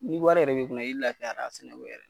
Ni wari yɛrɛ bɛ i kunna i laafiyara a sɛnɛko la.